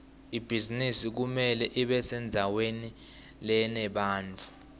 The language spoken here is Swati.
ibhizinisi kumele ibesendzaweni lenebantfu